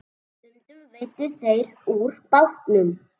Stundum veiddu þeir úr bátnum.